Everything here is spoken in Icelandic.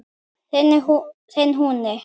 Þinn Húni.